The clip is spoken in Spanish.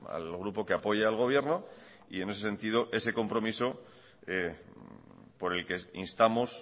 al grupo que apoya al gobierno y en ese sentido ese compromiso por el que instamos